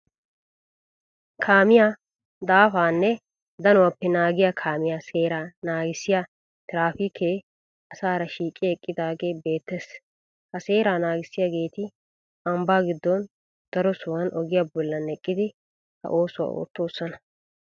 Kaamiyaa daafaanne danuwappe naagiya kaamiya seeraa naagissiya tiraafiikee asaara shiiqi eqqidaagee beettes. Ha seraa naagissiyageeti ambbaa giddon daro sohuwan ogiya bollan eqqidi ha oosuwa oottoosona.